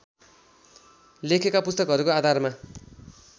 लेखेका पुस्तकहरूको आधारमा